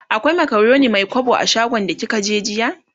akwai macaroni Mai kwabo a shagon da kika je jiya?